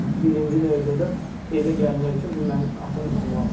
ən birinci növbədə evə gəlmək üçün bu məni atam danlamasın.